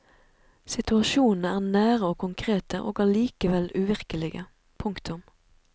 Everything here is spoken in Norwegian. Situasjonene er nære og konkrete og allikevel uvirkelige. punktum